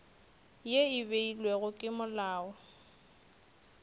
ye e beilwego ke molao